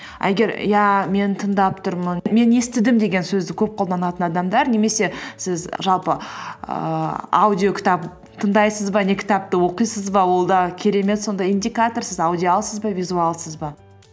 а егер иә мен тыңдап тұрмын мен естідім деген сөзді көп қолданатын адамдар немесе сіз жалпы ііі аудио кітап тыңдайсыз ба не кітапты оқисыз ба ол да керемет сондай индикатор сіз аудиалсыз ба визуалсыз ба